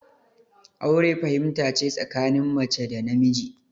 Aure fahimta ce tsakanin mace da namiji